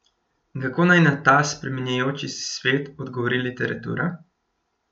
In kako naj na ta spreminjajoči se svet odgovori literatura?